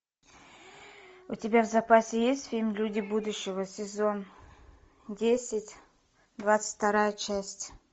у тебя в запасе есть фильм люди будущего сезон десять двадцать вторая часть